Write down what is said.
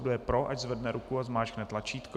Kdo je pro, ať zvedne ruku a zmáčkne tlačítko.